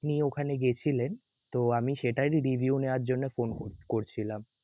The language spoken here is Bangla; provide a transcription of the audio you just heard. আপনি ওখানে গেছিলেন তো আমি সেটারই review নেয়ার জন্য ফোন করছিলাম.